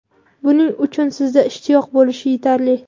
Buning uchun sizda ishtiyoq bo‘lishi yetarli.